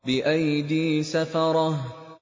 بِأَيْدِي سَفَرَةٍ